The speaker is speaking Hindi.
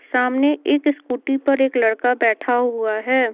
सामने एक स्कूटी पर एक लड़का बैठा हुआ है।